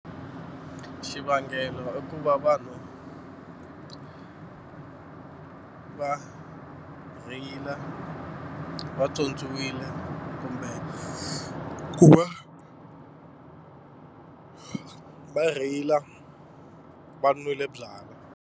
Xuvangelo i ku va vanhu va rheyila vatswotswiwile kumbe ku va va rheyila va nwile byalwa.